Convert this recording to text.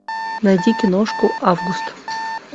найди киношку август